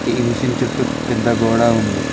ఈ మిషన్ చుట్టూ పెద్ద గోడ ఉంది